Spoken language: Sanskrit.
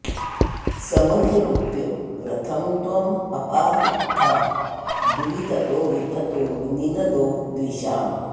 समधिरोप्य रथं त्वमपाहृथा भुवि ततो विततो निनदो द्विषाम्